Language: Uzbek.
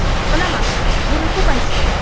Bilaman, buni ko‘p aytishadi.